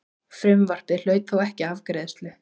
Frumvarpið hlaut þó ekki afgreiðslu.